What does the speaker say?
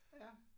Ja